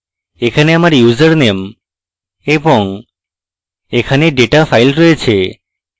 এখানে আমার ইউজারনেম এবং এখানে ডেটা file রয়েছে